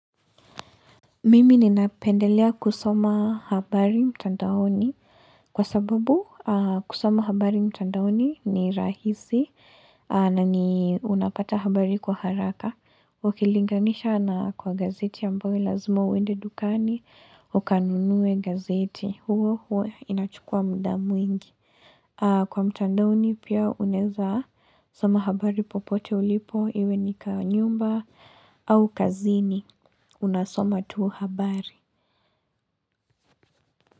Mimi ninapendelea kusoma habari mtandaoni kwa sababu kusoma habari mtandaoni ni rahisi na ni unapata habari kwa haraka. Ukilinganisha na kwa gazeti ambayo lazima uende dukani ukanunue gazeti huo huwa inachukua muda mwingi. Kwa mtandaoni pia unaweza soma habari popote ulipo, iwe ni kwa nyumba au kazini unasoma tuu habari.